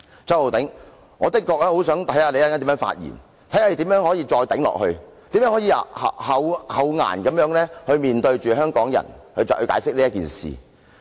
周浩鼎議員，我確實想看看你稍後如何發言，看看你如何能夠再"頂"下去，如何能夠厚顏地向香港人解釋此事。